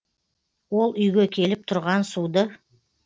ол үйге келіп тұрған суды